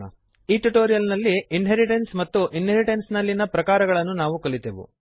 ಈ ಟ್ಯುಟೋರಿಯಲ್ ನಲ್ಲಿ ಇನ್ಹೆರಿಟೆನ್ಸ್ ಮತ್ತು ಇನ್ಹೆರಿಟೆನ್ಸ್ ನಲ್ಲಿಯ ಪ್ರಕಾರಗಳನ್ನು ನಾವು ಕಲಿತೆವು